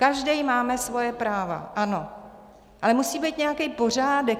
Každý máme svoje práva, ano, ale musí být nějaký pořádek.